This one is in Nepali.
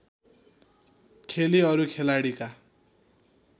खेली अरू खेलाडीका